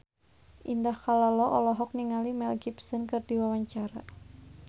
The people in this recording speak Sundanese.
Indah Kalalo olohok ningali Mel Gibson keur diwawancara